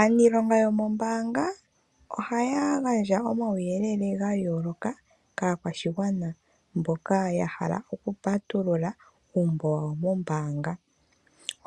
Aaniilonga yomoombanga ohaya gandja omauyelele gayooloka kaakwashigwana mboka yahala okupatulula uumbo wawo mombaanga.